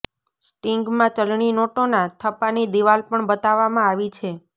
સ્ટિંગમાં ચલણી નોટોના થપ્પાની દિવાલ પણ બતાવવામાં આવી છે